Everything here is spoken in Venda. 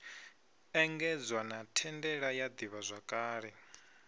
engedzwa na thandela ya ḓivhazwakale